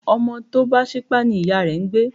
Ọmọ tọ bá sípá ní iyà rẹ́ ń gbẹ